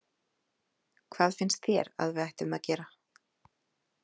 Hvað finnst þér að við ættum að gera?